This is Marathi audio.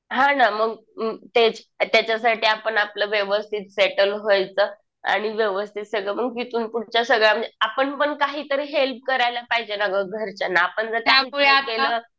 हा ना मग तेच. त्याच्यासाठी आपण आपलं व्यवस्थित सेटल व्हायचं. आणि व्यवस्थित सगळं मग तिथून पुढच्या सगळ्या म्हणजे आपण पण काहीतरी हेल्प करायला पाहिजे ना गं घरच्यांना. आपण जर त्यांच्यासाठी काही केलं